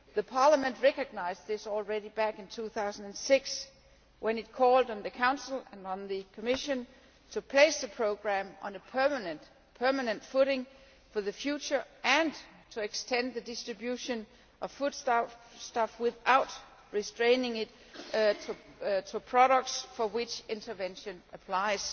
Parliament recognised this already in 2006, when it called on the Council and the Commission to place the programme on a permanent footing for the future and to extend the distribution of foodstuffs, without restricting it to the products for which intervention applies.